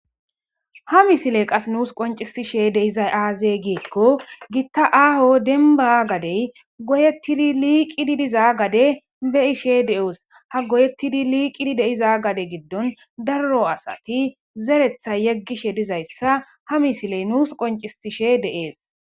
ha misiley qas nuus qoncisishe deyizay aaze giikko gitta aaho denba gadey goyettidi liiqididiza gade be ishe de7oos ha goyettidi liiqidi deiza gade giddon darro asati zeretha yeggishe dizayssa ha misiley nuus qoncisishe de7ees